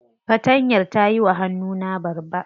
Fatantayar ta yiwa hannuna babba.